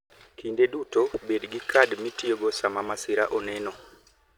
Kinde duto bed gi kad mitiyogo sama masira oneno.